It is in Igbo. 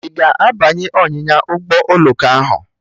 Ị ga-abanye ọnyịnya ụgbọ oloko ahụ?